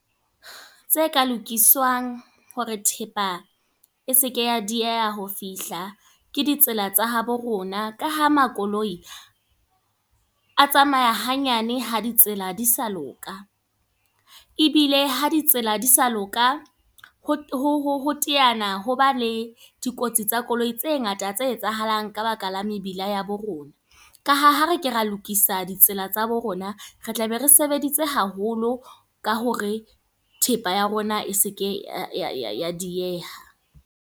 Tse ka lokiswang, hore thepa e seke ya dieha ho fihla. Ke ditsela tsa habo rona. Ka ha makoloi, a tsamaya ha nyane, ha ditsela di sa loka. Ebile ha di tsela di sa loka, ho teana hoba le dikotsi tsa koloi tse ngata tse etsahalang ka baka la mebila ea bo rona. Ka ha, ha re ke ra lokisa ditsela tsa bo rona. Re tla be re sebeditse haholo ka hore thepa ya rona e seke ya dieha.